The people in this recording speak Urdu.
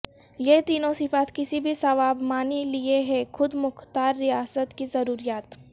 یہ تینوں صفات کسی بھی سوابمانی لئے ہیں خود مختار ریاست کی ضروریات